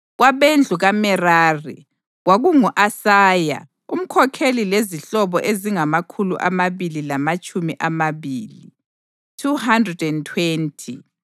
kwabendlu kaMerari, kwakungu-Asaya umkhokheli lezihlobo ezingamakhulu amabili lamatshumi amabili (220);